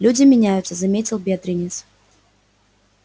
люди меняются заметил бедренец